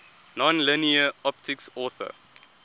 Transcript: nonlinear optics author